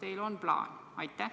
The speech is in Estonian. Kas teil on plaan?